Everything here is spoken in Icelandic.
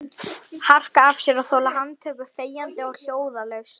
Harka af sér og þola handtöku þegjandi og hljóðalaust?